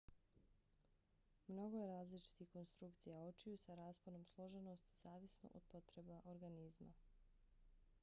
mnogo je različitih konstrukcija očiju sa rasponom složenosti zavisno od potreba organizma